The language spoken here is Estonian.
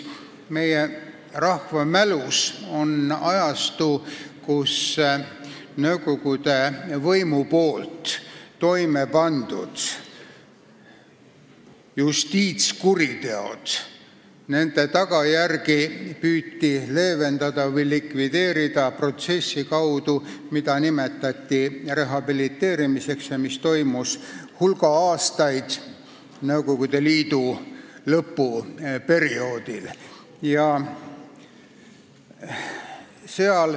Meie rahvas mäletab aega, mil nõukogude võimu toime pandud justiitskuritegude tagajärgi püüti leevendada tegevuse abil, mida nimetati rehabiliteerimiseks ja mis kestis hulga aastaid Nõukogude Liidu lõpuperioodil.